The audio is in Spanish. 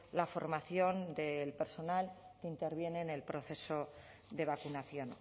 la formación del personal que interviene en el proceso de vacunación